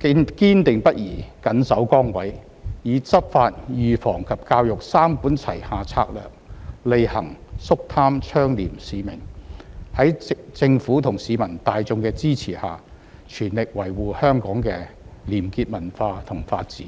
堅定不移緊守崗位，以執法、預防及教育三管齊下策略履行肅貪倡廉使命，在政府和市民大眾的支持下，全力維護香港的廉潔文化和法治。